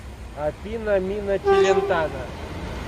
афина миначелентано